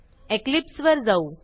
Eclipse वर जाऊ